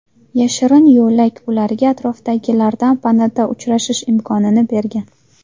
Yashirin yo‘lak ularga atrofdagilardan panada uchrashish imkonini bergan.